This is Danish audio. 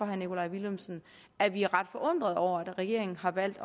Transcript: herre nikolaj villumsen at vi er ret forundrede over at regeringen har valgt